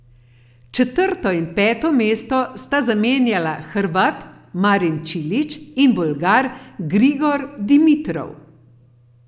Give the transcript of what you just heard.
Četrto in peto mesto sta zamenjala Hrvat Marin Čilić in Bolgar Grigor Dimitrov.